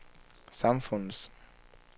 samfundets